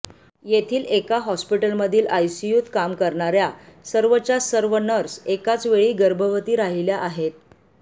येथील एका हॉस्पिटलमधील आयसीयूत काम करणाऱ्या सर्वच्या सर्व नर्स एकाचवेळी गर्भवती राहिल्या आहेत